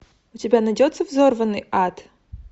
у тебя найдется взорванный ад